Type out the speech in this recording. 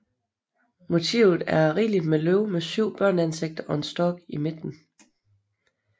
Motivet er rigeligt med løv med syv børneansigter og en stork i midten